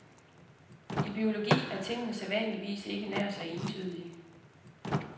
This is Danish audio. I biologi er tingene sædvanligvis ikke nær så entydige.